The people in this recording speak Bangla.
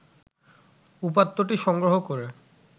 উপাত্তটি সংগ্রহ করে